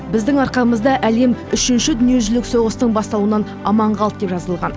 біздің арқамызда әлем үшінші дүниежүзілік соғыстың басталуынан аман қалды деп жазылған